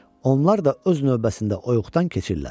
onlar da öz növbəsində oyudan keçirlər.